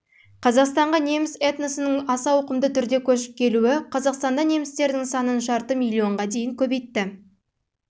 қазақстанға неміс этносының аса ауқымды түрде көшіп келуі қазақстанда немістердің санын жарты миллионға дейін көбейтті